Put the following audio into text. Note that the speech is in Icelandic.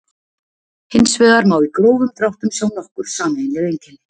Hins vegar má í grófum dráttum sjá nokkur sameiginleg einkenni.